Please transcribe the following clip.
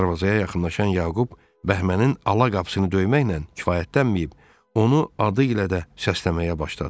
Darvazaya yaxınlaşan Yaqub Bəhmənin ala qapısını döyməklə kifayətdənməyib, onu adı ilə də səsləməyə başladı.